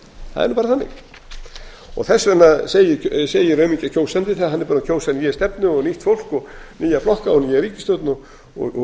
það er nú bara þannig þess vegna segir aumingja kjósandinn þegar hann er búinn að kjósa nýja stefnu og nýtt fólk og nýja flokka og nýja ríkisstjórn og